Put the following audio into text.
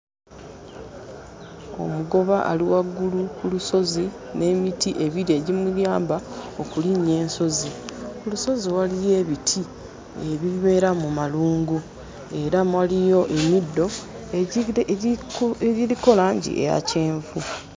Omugoba ali waggulu ku lusozi n'emiti ebiri egimuyamba okulinnya ensozi. Ku lusozi waliyo ebiti ebibeera mu malungu era waliyo emiddo egi egiriko langi eya kyenvu.